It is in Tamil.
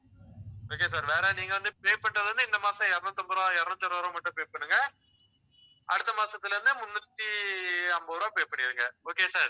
okay sir வேற நீங்க வந்து, pay பண்றது வந்து இந்த மாசம் இருநூத்தி அம்பது ரூபாய், இருநூத்தி அறுபது ரூபாய் மட்டும் pay பண்ணுங்க அடுத்த மாசத்தில இருந்து, முன்னூத்தி ஐம்பது ரூபாய் pay பண்ணிடுங்க. okay sir.